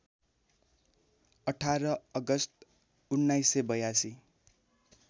१८ August १९८२